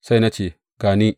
Sai na ce, Ga ni!